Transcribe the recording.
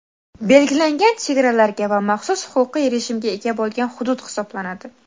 belgilangan chegaralarga va maxsus huquqiy rejimga ega bo‘lgan hudud hisoblanadi.